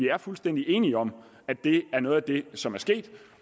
er fuldstændig enige om at det er noget af det som er sket